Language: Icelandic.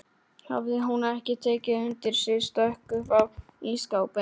Hafði hún ekki tekið undir sig stökk upp á ísskápinn!